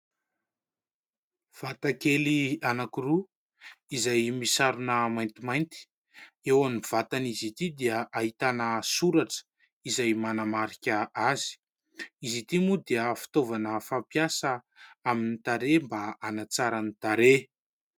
Vatakely anankiroa izay misarona maintimainty eo amin'ny vatan'izy ity dia ahitana soratra izay manamarika azy. Izy ity moa dia fitaovana fampiasa amin'ny tarehy mba hanatsara ny tarehy.